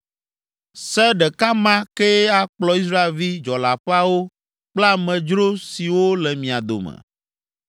Se ɖeka ma kee akplɔ Israelvi dzɔleaƒeawo kple amedzro siwo le mia dome.”